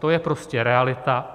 To je prostě realita.